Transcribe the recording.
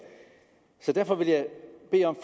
derfor vil jeg